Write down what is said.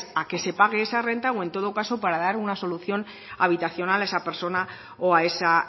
a que se page esa renta o en todo caso para dar una solución habitacional a esa persona o a esa